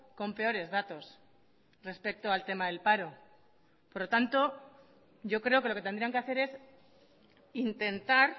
con peores datos respecto al tema del paro por lo tanto yo creo que lo que tendrían que hacer es intentar